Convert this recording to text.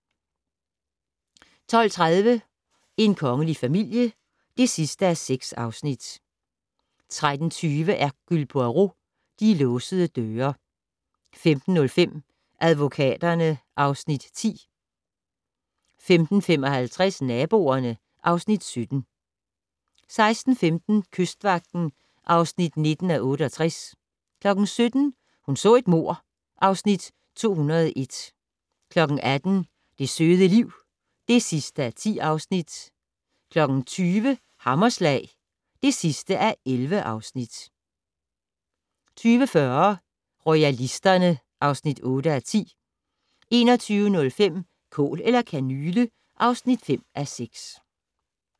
12:30: En kongelig familie (6:6) 13:20: Hercule Poirot: De låsede døre 15:05: Advokaterne (Afs. 10) 15:55: Naboerne (Afs. 17) 16:15: Kystvagten (19:68) 17:00: Hun så et mord (Afs. 201) 18:00: Det søde liv (10:10) 20:00: Hammerslag (11:11) 20:40: Royalisterne (8:10) 21:05: Kål eller kanyle (5:6)